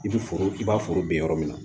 I bi foro i b'a foro ben yɔrɔ min na